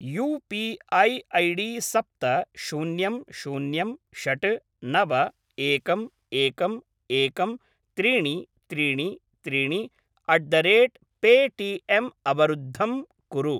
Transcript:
You P I ID सप्त शून्यं शून्यं षट् नव एकम् एकम् एकं त्रीणि त्रीणि त्रीणि अट् द रेट् पेटिएम् अवरुद्धं कुरु।